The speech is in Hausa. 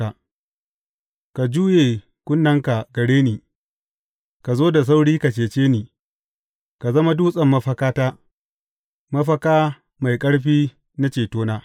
Ka juye kunnenka gare ni, ka zo da sauri ka cece ni; ka zama dutsen mafakata, mafaka mai ƙarfi na cetona.